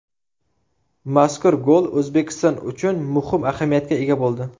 Mazkur gol O‘zbekiston uchun muhim ahamiyatga ega bo‘ldi.